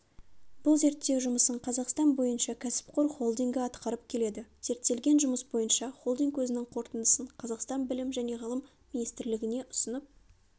бұл зерттеу жұмысын қазақстан бойынша кәсіпқор холдингі атқарып келеді зерттелген жұмыс бойынша холдинг өзінің қорытындысын қазақстан білім және ғылым министрлігіне ұсынып